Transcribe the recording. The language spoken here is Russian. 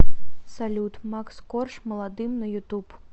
салют макс корж молодым на ютуб